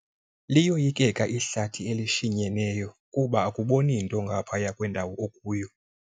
Liyoyikeka ihlathi elishinyeneyo kuba akuboni nto ngaphaya kwendawo okuyo.